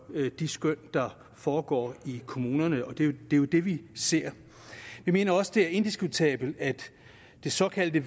de skøn der foregår i kommunerne og det er jo det vi ser jeg mener også at det er indiskutabelt at det såkaldte